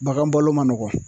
Bagan bɔlo ma nɔgɔ